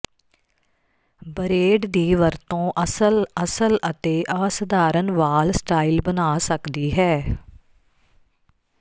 bread ਦੀ ਵਰਤੋਂ ਅਸਲ ਅਸਲ ਅਤੇ ਅਸਧਾਰਨ ਵਾਲ ਸਟਾਈਲ ਬਣਾ ਸਕਦੀ ਹੈ